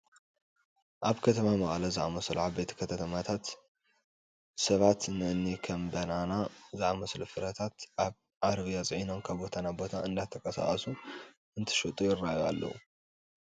ኣብ ከም መቐለ ዝኣምሰሉ ዓበይቲ ከተማታት ሰባት ንእኒ ከም በነና ዝኣምሰሉ ፍረታት ኣብ ዓረብያ ፅዒኖም ካብ ቦታ ናብ ቦታ እንዳተንቀሳቐሱ እንትሸጡ ይርአዩ እዮም፡፡